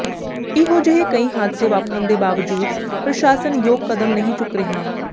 ਇਹੋ ਜਿਹੇ ਕਈ ਹਾਦਸੇ ਵਾਪਰਨ ਦੇ ਬਾਵਜੂਦ ਪ੍ਰਸ਼ਾਸਨ ਯੋਗ ਕਦਮ ਨਹੀ ਚੁੱਕ ਰਿਹਾ